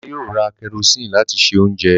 Bàbá yóò ra kẹrosíìnì láti se oúnjẹ